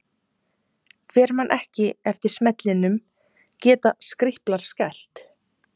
Hver man ekki eftir smellinum Geta Skríplar skælt?